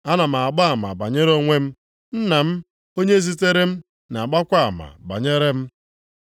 Ana m agba ama banyere onwe m. Nna m, onye zitere m, na-agbakwa ama banyere m.”